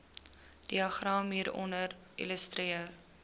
diagram hieronder illustreer